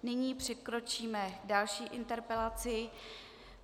Nyní přikročíme k další interpelaci.